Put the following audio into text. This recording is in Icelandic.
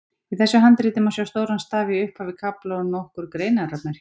Í þessu handriti má sjá stóran staf í upphaf kafla og nokkur greinarmerki.